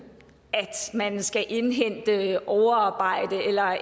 skal indhente det ved overarbejde